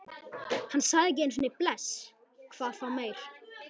Hann sagði ekki einu sinni bless, hvað þá meir.